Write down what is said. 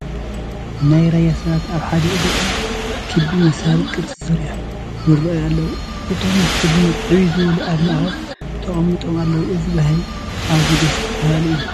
ናይ ራያ ሰባት ኣብ ሓደ እግሪ ኦም ክቢ መሳሊ ቅርፂ ሰሪሖም ይርአዩ ኣለዉ፡፡ እቶም ብዕድመ ዕብይ ዝበሉ ኣብ ማእኸል ተቐሚጦም ኣለዉ፡፡ እዚ ባህሊ ኣዝዩ ደስ በሃሊ እዩ፡፡